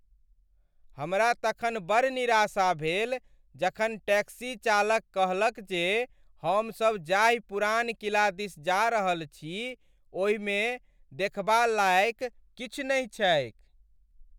हमरा तखन बड़ निराशा भेल जखन टैक्सी चालक कहलक जे हमसभ जाहि पुरान किला दिस जा रहल छी ओहिमे देखबा लाएक किछु नहि छैक।